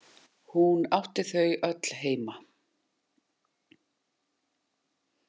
Hún átti þau öll heima.